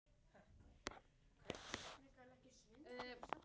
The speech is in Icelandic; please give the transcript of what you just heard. Við erum ekki að heimta neitt.